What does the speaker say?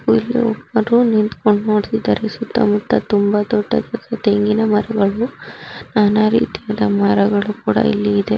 ಇಲ್ಲಿ ಒಬ್ಬರು ನಿಂತುಕೊಂಡು ನೋಡುತಿದರೆ ಸುತ್ತ ಮುತ್ತ ತುಂಬಾ ದೊಡ್ಡದಾದ ತೆಂಗಿನ ಮರಗಳು ನಾನಾರೀತಿಯ ಮರಗಳು ಕೂಡ ಇಲ್ಲಿ ಇದೆ.